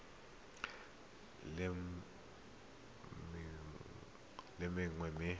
ngwaga mongwe le mongwe mme